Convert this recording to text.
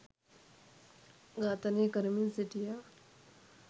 ඝාතනය කරමින් සිටියා.